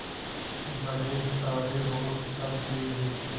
बड़े सारे और सब एक जैसे